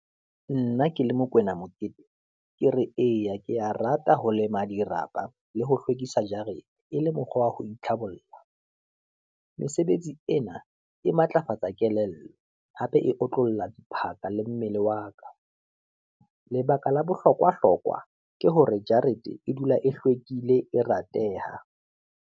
Nna ke le Mokoena Mokete, ke re eya ke ya rata ho lema dirapa, le ho hlwekisa jarete, e le mokgwa wa ho itlhabolla, mesebetsi ena e matlafatsa kelello, hape e otlolla diphaka le mmele wa ka. Lebaka la bohlokwa hlokwa ke hore jarete e dula e hlwekile, e rateha.